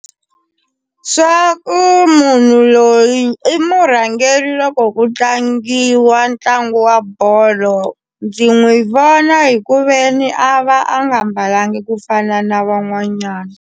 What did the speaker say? Swa ku munhu loyi i murhangeri loko ku tlangiwa ntlangu wa bolo ndzi n'wi vona hi ku ve ni a va a nga mbalangi ku fana na van'wanyana.